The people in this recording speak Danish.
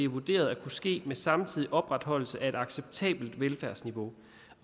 vurderet at kunne ske med samtidig opretholdelse af et acceptabelt velfærdsniveau